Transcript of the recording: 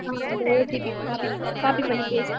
அஹ் அந்த OTPcopy பண்ணி paste பண்ணு